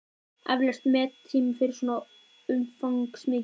Eflaust mettími fyrir svo umfangsmikið verk.